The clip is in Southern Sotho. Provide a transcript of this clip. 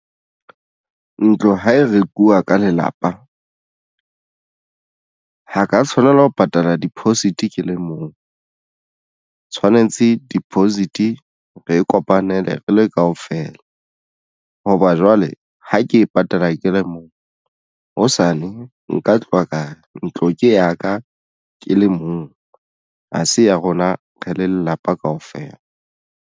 Ntlo ha e rekuwa ka lelapa ha ka tshwanela ho patala deposit ke le mong tshwanetse deposit re e kopanele re le kaofela hoba jwale ha ke e patala ke le mong hosane nka tloha ka re ntlo ke ya ka ke le mong ha se ya rona re le lelapa kaofela.